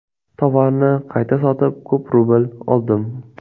Tovarni qayta sotib, ko‘p rubl oldim.